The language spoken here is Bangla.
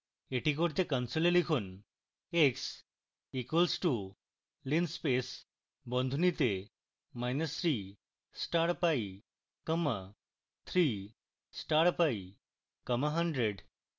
এটি করতে কনসোলে লিখুন